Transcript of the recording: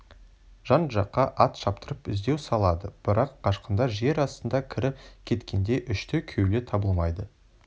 жан-жаққа ат шаптырып іздеу салады бірақ қашқындар жер астына кіріп кеткендей үшті-күйлі табылмайды